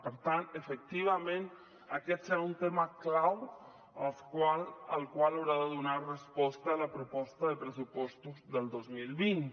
per tant efectivament aquest serà un tema clau al qual haurà de donar resposta la proposta de pressupostos del dos mil vint